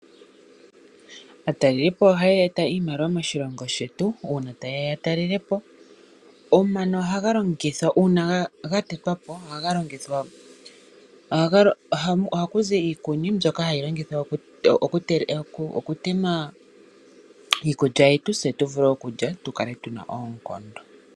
Aatalelipo ohaya eta iimaliwa moshilongo shetu uuna taye ya yatalelapo. Omano ohaga longithwa uuna gatetwapo. Ohaku zi iikuni mbyoka hayi longithwa okutema iikulya yetu se tuvule okulya tukale tuna oonkondo.